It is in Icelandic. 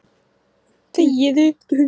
Því er, að þar sem